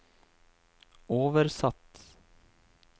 oversatt